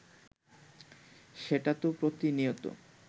সেটা তো প্রতিনিয়ত